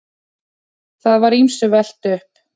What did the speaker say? Það var ýmsu velt upp.